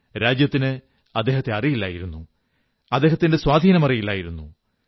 രാജ്യത്തിന് അദ്ദേഹത്തെ അറിയില്ലായിരുന്നു അദ്ദേഹത്തിന്റെ സ്വാധീനമറിയില്ലായിരുന്നു